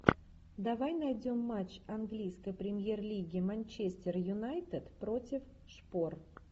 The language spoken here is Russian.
давай найдем матч английской премьер лиги манчестер юнайтед против шпор